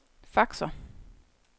faxer